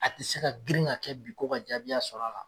A ti se ka grin ka kɛ bi ko ka jaabiya sɔrɔ a la